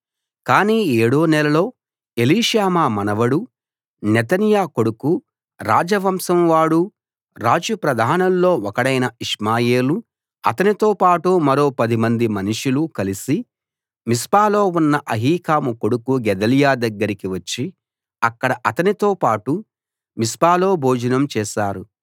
కాని ఏడో నెలలో ఎలీషామా మనవడూ నెతన్యా కొడుకూ రాజవంశం వాడూ రాజు ప్రధానుల్లో ఒకడైన ఇష్మాయేలూ అతనితోపాటు మరో పదిమంది మనుషులు కలిసి మిస్పాలో ఉన్న అహీకాము కొడుకు గెదల్యా దగ్గరికి వచ్చి అక్కడ అతనితోపాటు మిస్పాలో భోజనం చేశారు